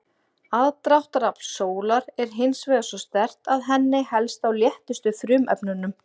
Aðdráttarafl sólar er hins vegar svo sterkt að henni helst á léttustu frumefnunum.